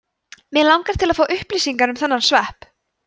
mig langar til að fá upplýsingar um þennan svepp